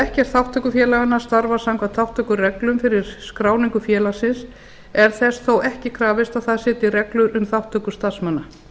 ef ekkert þátttökufélaganna starfar samkvæmt þátttökureglum fyrir skráningu félagsins er þess þó ekki krafist að það setji reglur um þátttöku starfsmanna